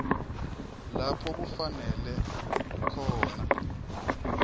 lapho kufanele khona